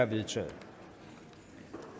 vedtaget